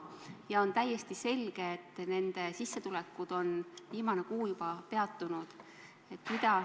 Nüüd on täiesti selge, et nende firmade sissetulekud on viimane kuu juba peatunud.